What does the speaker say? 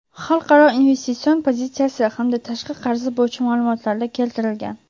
xalqaro investitsion pozitsiyasi hamda tashqi qarzi bo‘yicha ma’lumotlarda keltirilgan.